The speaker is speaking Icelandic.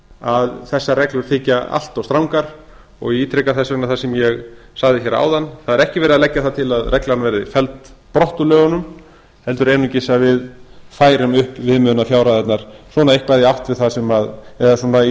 að þessar reglur þykja allt of strangar ég ítreka þess vegna það sem ég sagði hér áðan það er ekki verið að leggja það til að reglan verði felld brott úr lögunum heldur einungis að við færum upp viðmiðunarfjárhæðirnar svona